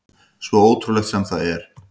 Svo ótrúlegt sem það er.